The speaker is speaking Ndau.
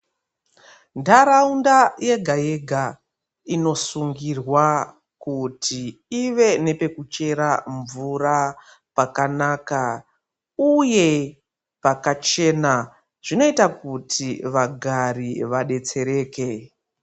Nharaunda yega yega inosungirwa kuti iwe nepekuchera mvura pakanaka uye pakachena zvinoita kuti vagari vadetsereke.